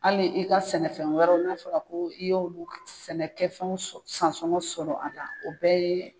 Hali i ka sɛnɛ fɛn wɛrɛw n'a fɔra ko i y'olu sɛnɛ kɛ fɛnw san sɔngɔ sɔrɔ a la o bɛɛ ye.